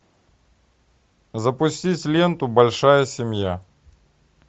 запустить ленту большая семья